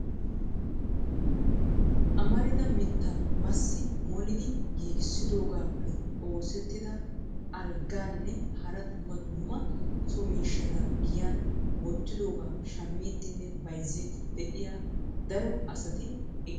Amarida mittaa masi molidi giigissidoogappe oosetida algganne hara dumma dumma so miishshata giyan wottidooga shammidiinne bayzziidi de'iyaa daro asati eqqidoosona.